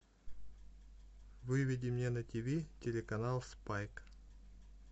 выведи мне на тиви телеканал спайк